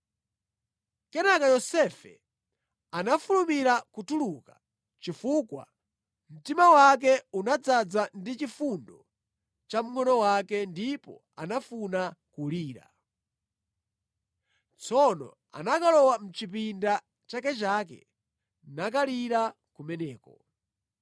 Kenaka Yosefe anafulumira kutuluka chifukwa mtima wake unadzaza ndi chifundo cha mngʼono wake ndipo anafuna kulira. Tsono anakalowa mʼchipinda chakechake nakalira kumeneko.